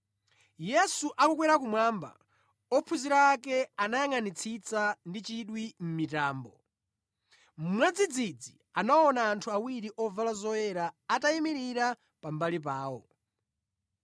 Yesu akukwera kumwamba, ophunzira ake anayangʼanitsitsa ndi chidwi mʼmitambo. Mwadzidzidzi anaona anthu awiri ovala zoyera atayimirira pambali pawo.